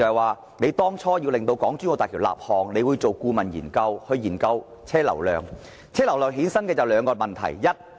為了把港珠澳大橋列為建設項目，政府須就車流量進行顧問研究，因而衍生兩個問題。